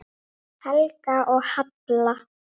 Helga og Halla.